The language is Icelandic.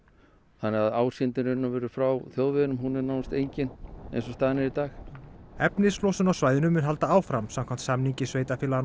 þannig að frá þjóðveginum hún er nánast engin eins og staðan er í dag efnislosun á svæðinu mun halda áfram samkvæmt samningi sveitarfélaganna á